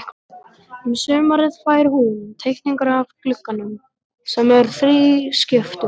Um sumarið fær hún teikningar af glugganum, sem er þrískiptur.